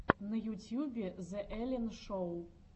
на ютьюбе зе эллен шоу